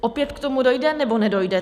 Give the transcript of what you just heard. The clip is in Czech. Opět k tomu dojde, nebo nedojde?